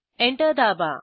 enter दाबा